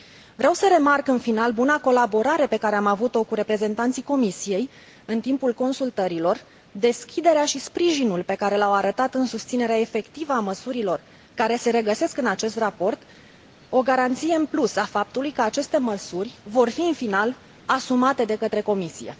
Vreau să remarc în final buna colaborare pe care am avut o cu reprezentanții Comisiei în timpul consultărilor, deschiderea și sprijinul pe care l au arătat în susținerea efectivă a măsurilor care se regăsesc în acest raport, o garanție în plus a faptului că aceste măsuri vor fi în final asumate de către Comisie.